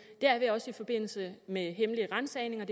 det er vi også i forbindelse med hemmelige ransagninger